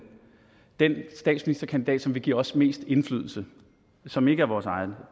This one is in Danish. den statsministerkandidat som vil give os mest indflydelse og som ikke er vores eget